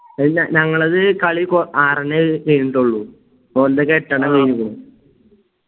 ഇല്ല ഞങ്ങളത് കളി കോ അറിഞ്ഞ് കയിനിട്ടെ ഉള്ളു